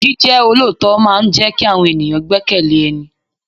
Jíjẹ́ olóòótọ́ máa ń jẹ kí àwọn ènìyàn gbekele ẹni.